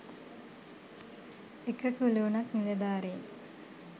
එක කුලූනක් නිලධාරීන්